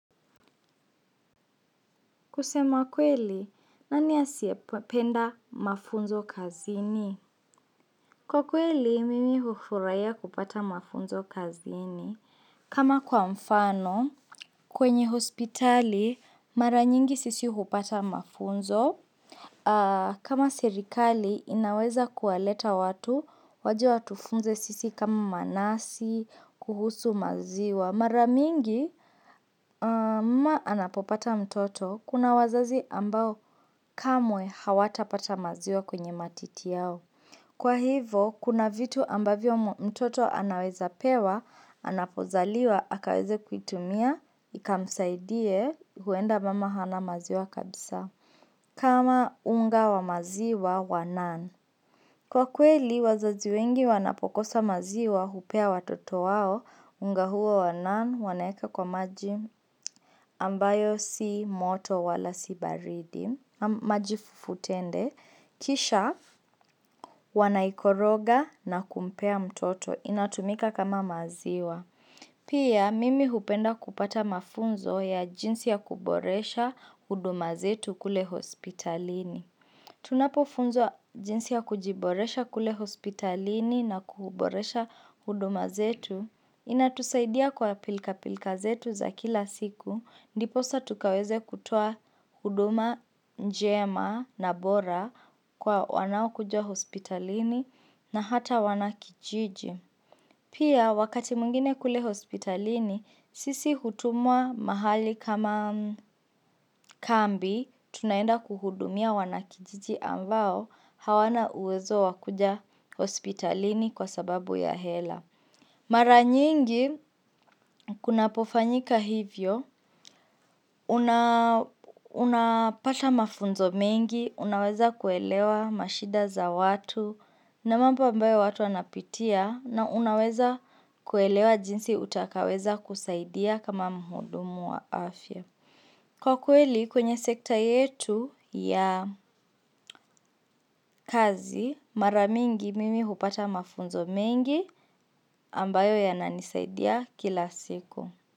Kusema kweli, nani ya siapenda mafunzo kazini? Kwa kweli, mimi hufuraiya kupata mafunzo kazini. Kama kwa mfano, kwenye hospitali, mara nyingi sisi hupata mafunzo. Kama sirikali, inaweza kuwaleta watu, waje watufunze sisi kama manasi, kuhusu maziwa. Mara mingi, mama anapopata mtoto, kuna wazazi ambao. Kamwe hawata pata maziwa kwenye matiti yao. Kwa hivo, kuna vitu ambavyo mtoto anaweza pewa, anapozaliwa, akaweze kuitumia, ikamsaidie, huenda mama hana maziwa kabisa. Kama unga wa maziwa wa nan. Kwa kweli, wazazi wengi wanapokosa maziwa hupea wa toto wao, unga huo wa nan, wanaeka kwa maji ambayo si moto wala si baridi. Majifufutende Kisha wanaikoroga na kumpea mtoto inatumika kama maziwa Pia mimi hupenda kupata mafunzo ya jinsi ya kuboresha huduma zetu kule hospitalini Tunapofunzwa jinsi ya kujiboresha kule hospitalini na kuboresha huduma zetu Inatusaidia kwa pilka pilka zetu za kila siku Ndiposa tukaweze kutua huduma njema na bora kwa wanao kuja hospitalini na hata wanakijiji. Pia wakati mwingine kule hospitalini, sisi hutumua mahali kama kambi, tunaenda kuhudumia wanakijiji ambao hawana uwezo wakuja hospitalini kwa sababu ya hela. Mara nyingi kunapofanyika hivyo, unapata mafunzo mengi, unaweza kuelewa mashida za watu na mamba ambayo watu anapitia na unaweza kuelewa jinsi utakaweza kusaidia kama mhudumu wa afya. Kwa kweli kwenye sekta yetu ya kazi, mara mingi mimi hupata mafunzo mengi ambayo yananisaidia kila siku.